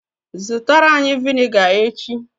Zụtara anyi viniga echi!